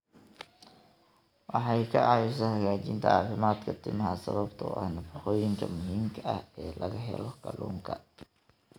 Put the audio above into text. Waxay ka caawisaa hagaajinta caafimaadka timaha sababtoo ah nafaqooyinka muhiimka ah ee laga helo kalluunka.